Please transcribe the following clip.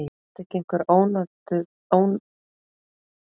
Átti ekki einhver ónotað lífeyrissjóðslán?